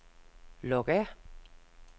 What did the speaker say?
log af